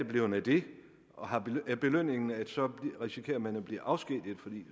blevet af det er belønningen at så risikerer man at blive afskediget for